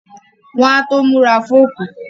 Wọ́n á tó múra fókù